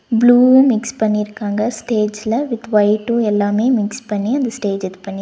blue mix பண்ணிருக்காங்க ஸ்டேஜ்ல with white எல்லாமே மிக்ஸ் பண்ணி அந்த ஸ்டேஜ் அ இது பண்ணி--